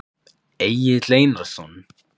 Egill Einarsson?